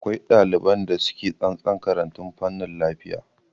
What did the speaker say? Akwai ɗaliban da suke tsantsan karatun fanin lafiya